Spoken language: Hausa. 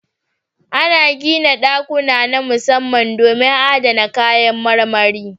Ana gina ɗakuna na musamman domin adana kayan marmari.